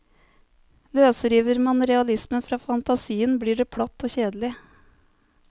Løsriver man realismen fra fantasien, blir det platt og kjedelig.